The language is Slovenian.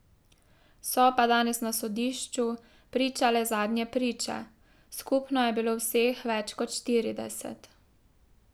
So pa danes na sodišču pričale zadnje priče, skupno je bilo vseh več kot štirideset.